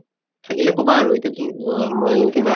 থাকিলে কʼবা আৰু এতিয়াতো অহ মই কিবা